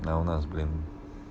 а у нас блин